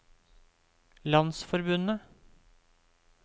landsforbundet